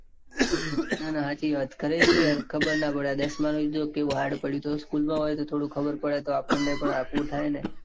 ના ના હાચી વાત. ઘરે સુ યાર ખબર ના પડે. આ દસ માં જો કેઉં hard પડ્યું. તોયે school માં હોય તો થોડું ખબર પડે. તો આપણને એ આઘું થાય ને.